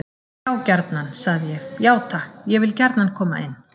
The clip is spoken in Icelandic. Já gjarnan, sagði ég: Já takk, ég vil gjarnan koma inn.